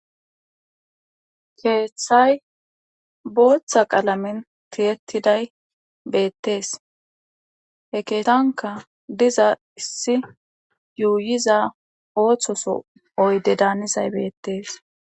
keeththay booththa qaalamen tiyettiday beettees he keetanka diza issi yuuyiza ooththoso oyde daanizay beettees